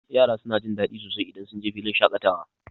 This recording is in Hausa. Yara suna jin daɗi sosai idan sunje filin shaƙatawa.